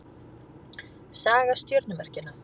Saga stjörnumerkjanna.